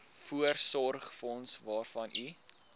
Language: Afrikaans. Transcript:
voorsorgsfonds waarvan u